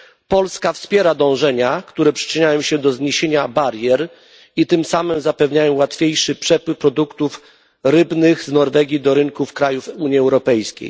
Polska wspiera dążenia, które przyczyniają się do zniesienia barier i tym samym zapewniają łatwiejszy przepływ produktów rybnych z Norwegii do rynków krajów Unii Europejskiej.